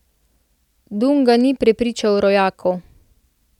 Dunga ni prepričal rojakov.